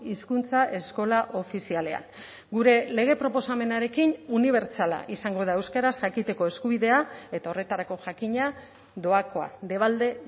hizkuntza eskola ofizialean gure lege proposamenarekin unibertsala izango da euskaraz jakiteko eskubidea eta horretarako jakina doakoa debalde